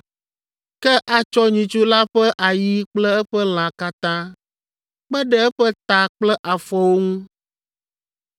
Ke atsɔ nyitsu la ƒe ayi kple eƒe lã katã, kpe ɖe eƒe ta kple afɔwo ŋu,